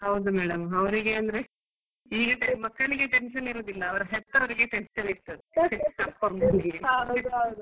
ಹೌದು madam ಅವರಿಗೆ ಅಂದ್ರೆ ಈಗಿನ ಮಕ್ಕಳಿಗೆ tension ಇರುದಿಲ್ಲ ಅವ್ರ ಹೆತ್ತವರ್ಗೆ tension .